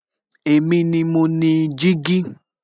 Èmi ni mo ni jígí